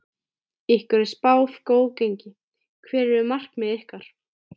Ykkur er spáð góðu gengi, hver eru markmið ykkar?